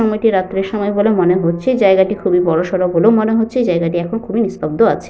সময়টি রাত্রি এর সময় বলে মনে হচ্ছে। জায়গাটি খুবই বড়সড় বলে মনে হচ্ছে। এই জায়গাটি এখন খুবই নিঃস্তব্দ আছে।